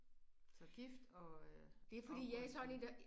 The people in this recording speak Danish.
Så gift og oprykning